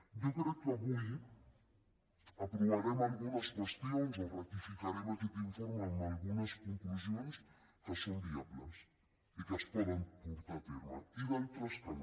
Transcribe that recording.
jo crec que avui aprovarem algunes qüestions o ratificarem aquest informe amb algunes conclusions que són viables i que es poden portar a terme i d’altres que no